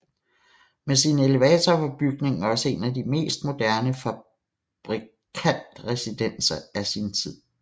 Med sin elevator var bygningen også en af de mest moderne fabrikantresidenser i sin tid